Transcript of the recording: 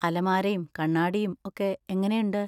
അലമാരയും കണ്ണാടിയും ഒക്കെ എങ്ങനെയുണ്ട്?